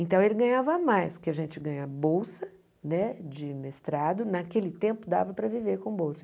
Então ele ganhava mais, porque a gente ganha bolsa né de mestrado, naquele tempo dava para viver com bolsa.